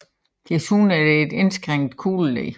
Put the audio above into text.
Desuden er det et indskrænket kugleled